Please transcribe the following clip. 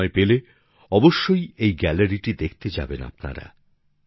সময় পেলে অবশ্যই এই গ্যালারিটি দেখতে যাবেন আপনারা